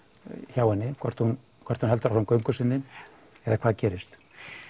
hjá henni hvort hún hvort hún heldur áfram göngu sinni eða hvað gerist